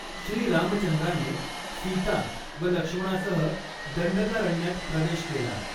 श्री रामचंद्राने सीता व लक्ष्मणासह दंडकारण्यात प्रवेश केला.